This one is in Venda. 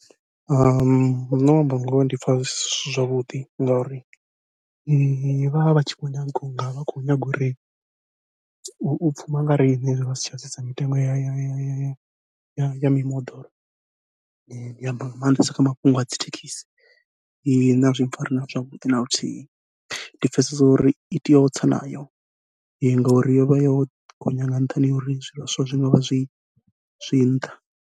Nṋe u amba ngoho ndi pfha zwi si zwavhuḓi ngauri, vha vha vha tshi khou nyaga unga vha khou nyanga uri u pfhuma nga riṋe vha si tsha sedza mitengo ya ya ya mimoḓoro, ndi amba nga maanḓesa kha mafhungo a dzi thekhisi. Nṋe azwi pfhari na zwavhuḓi naluthihi ndi pfhesesa uri i tea u tsa nayo ngauri yovha yo gonya nga nṱhani ha uri zwivhaswa zwi ngavha zwi zwi nṱha.